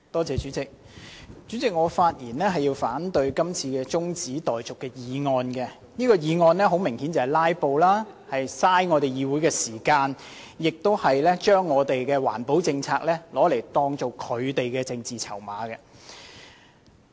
主席，我發言反對這項中止待續議案，議案的目的明顯是要"拉布"，浪費議會時間，把環保政策當作他們的政治籌碼。